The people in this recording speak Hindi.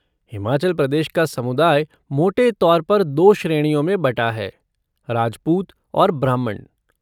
हिमाचल प्रदेश का समुदाय मोटे तौर पर दो श्रेणियों में बँटा है, राजपूत और ब्राह्मण।